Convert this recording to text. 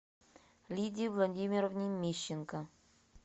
лидии владимировне мищенко